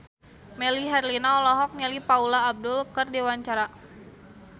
Melly Herlina olohok ningali Paula Abdul keur diwawancara